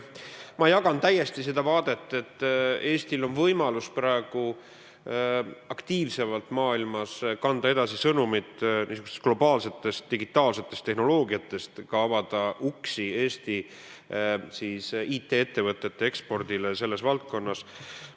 Ma jagan täiesti seda vaadet, et Eestil on võimalus praegu aktiivsemalt maailmas kanda edasi sõnumit globaalsest digitaalsest tehnoloogiast ja avada ka uksi Eesti IT-ettevõtete ekspordile selles valdkonnas.